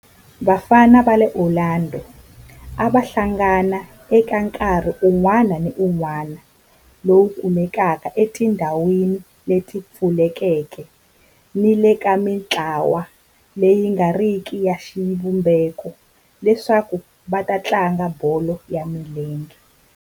Vafana va le Orlando a va hlangana eka nkarhi wun'wana ni wun'wana lowu kumekaka etindhawini leti pfulekeke ni le ka mintlawa leyi nga riki ya xivumbeko leswaku va tlanga bolo ya milenge.